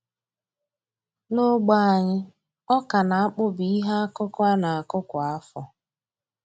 N'ogbe anyị, ọka na akpụ bụ ihe akụkụ a na-akụ kwa afọ